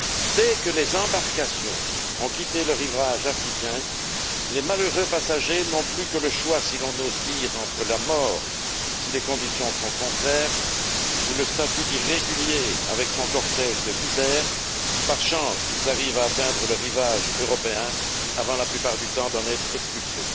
Dès que les embarcations ont quitté le rivage africain, les malheureux passagers n'ont plus que le choix, si l'on ose dire, entre la mort, si les conditions sont contraires, ou le statut d'irréguliers, avec son cortège de misère, si par chance ils arrivent à atteindre le rivage européen, avant, la plupart du temps, d'en être expulsés.